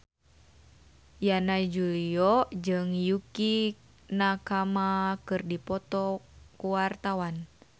Yana Julio jeung Yukie Nakama keur dipoto ku wartawan